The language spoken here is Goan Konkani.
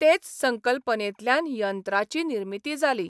तेच संकल्पनेंतल्यान यंत्रांची निर्मिती जाली.